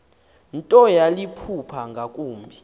nto yaliphupha ngakumbi